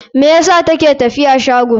Me yasa ta ke tafiya shago?